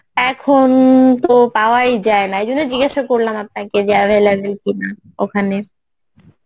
এখন তো পাওয়াই যায়না এই জন্যে জিজ্ঞাসা করলাম আপনাকে যে available কি না ওখানে